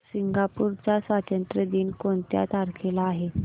Singapore चा स्वातंत्र्य दिन कोणत्या तारखेला आहे